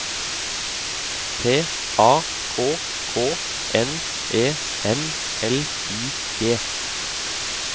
T A K K N E M L I G